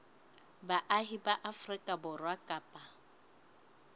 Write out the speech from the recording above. baahi ba afrika borwa kapa